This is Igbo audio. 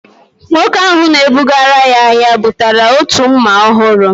Nwoke ahu na-ebugara ya ahịa, bụtara otu mma ọhụrụ